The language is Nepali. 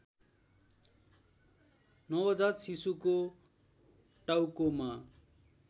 नवजात शिशुको टाउकोमा